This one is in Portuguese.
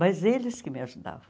Mas eles que me ajudavam.